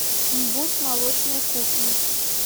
мбуз молочная кухня